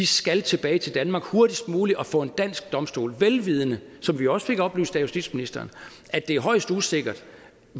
skal tilbage til danmark hurtigst muligt og stilles for en dansk domstol vel vidende som vi også fik oplyst af justitsministeren at det er højst usikkert